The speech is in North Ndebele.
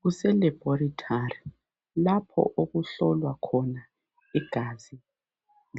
Kuse laboratory lapho okuhlolwa khona igazi